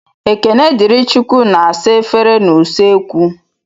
Ekenedịrịchukwu na-asa efere n'usekwu.